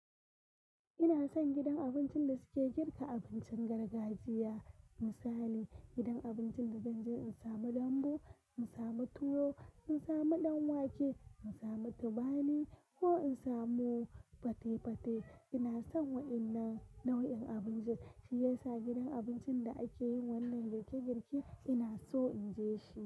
Ina son gidan abincin da suke girka abincin gargajiya. Misali gidan abincin da zan je in samu dambu, in samu tuwo, in samu ɗan wake, in samu tubani ko in samu fate-fate. Ina son waɗannan nau'in abinci, shiyasa gidan abincin da ake yin wannan girke-girke ina so in je shi.